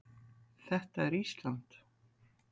Þetta er Ísland.